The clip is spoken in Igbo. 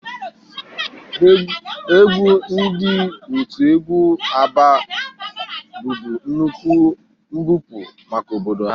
Egwu ndị otu egwu Abba bụbu nnukwu mbupụ maka obodo ha